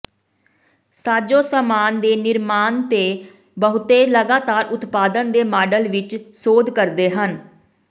ਸਾਜੋ ਸਾਮਾਨ ਦੇ ਨਿਰਮਾਣ ਦੇ ਬਹੁਤੇ ਲਗਾਤਾਰ ਉਤਪਾਦਨ ਦੇ ਮਾਡਲ ਵਿੱਚ ਸੋਧ ਕਰਦੇ ਹਨ